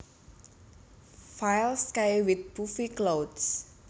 File Sky with puffy clouds